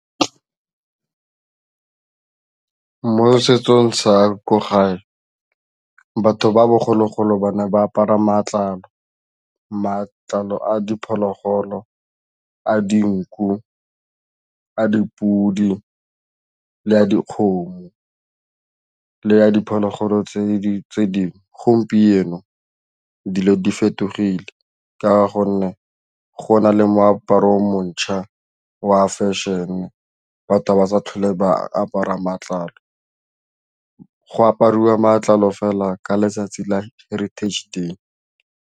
Mo setsong sa ko gae batho ba bogologolo ba ne ba apara matlalo. Matlalo a diphologolo, a dinku, a dipudi le a dikgomo le a diphologolo tse dingwe, gompieno dilo di fetogile ka gonne go na le moaparo o mo ntšhwa wa fashion-e batho ga ba sa tlhole ba apara matlalo, go apariwa matlalo fela ka letsatsi la Heritage day.